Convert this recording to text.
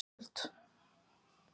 Hver á sökina á þessari styrjöld?